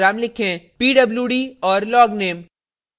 * pwd और * logname